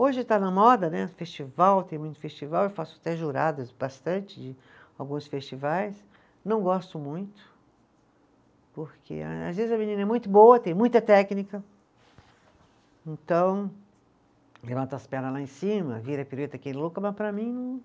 Hoje está na moda né, festival, tem muito festival, eu faço até juradas bastante de alguns festivais, não gosto muito, porque a às vezes a menina é muito boa, tem muita técnica, então levanta as perna lá em cima, vira pirueta que nem louca, mas para mim não,